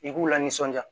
I k'u la nisɔndiya